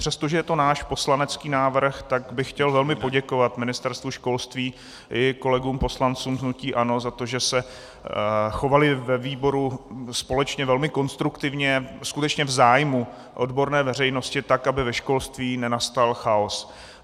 Přestože je to náš poslanecký návrh, tak bych chtěl velmi poděkovat Ministerstvu školství i kolegům poslancům hnutí ANO za to, že se chovali ve výboru společně velmi konstruktivně, skutečně v zájmu odborné veřejnosti, tak aby ve školství nenastal chaos.